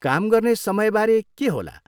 काम गर्ने समयबारे के होला?